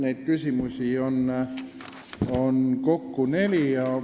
Neid küsimusi on kokku neli.